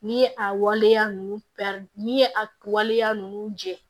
N'i ye a waleya ninnu n'i ye a waleya ninnu jɛ